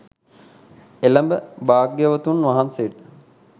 එළැඹ භාග්‍යවතුන් වහන්සේට